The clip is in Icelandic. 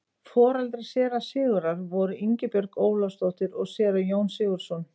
Foreldrar séra Sigurðar voru Ingibjörg Ólafsdóttir og séra Jón Sigurðsson.